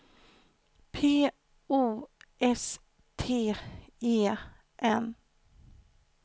P O S T E N